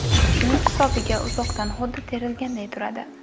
Shuning hisobiga uzoqdan xuddi terilganday turadi.